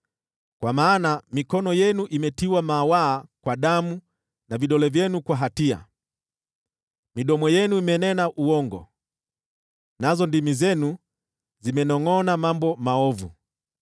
Kwa maana mikono yenu imetiwa mawaa kwa damu na vidole vyenu kwa hatia. Midomo yenu imenena uongo, nazo ndimi zenu zimenongʼona mambo maovu.